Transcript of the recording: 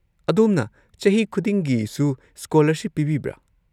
ꯑꯗꯣꯝꯅ ꯆꯍꯤ ꯈꯨꯗꯤꯡꯒꯤꯁꯨ ꯁ꯭ꯀꯣꯂꯔꯁꯤꯞ ꯄꯤꯕꯤꯕ꯭ꯔꯥ?